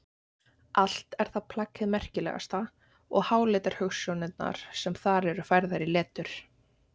Allt er það plagg hið merkilegasta og háleitar hugsjónirnar sem þar eru færðar í letur.